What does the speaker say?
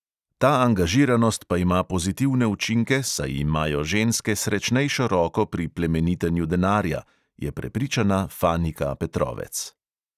Ta angažiranost pa ima pozitivne učinke, saj imajo ženske srečnejšo roko pri plemenitenju denarja, je prepričana fanika petrovec.